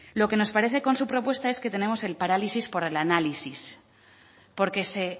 lo que nos parece con su propuesta es que tenemos el parálisis por el análisis porque se